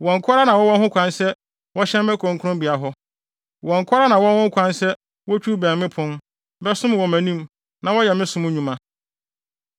Wɔn nko ara na wɔwɔ ho kwan sɛ wɔhyɛn me kronkronbea hɔ; wɔn nko ara na wɔwɔ ho kwan sɛ wotwiw bɛn me pon, bɛsom wɔ mʼanim na wɔyɛ me som nnwuma.